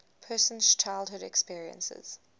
person's childhood experiences